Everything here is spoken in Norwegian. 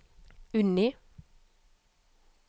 Unni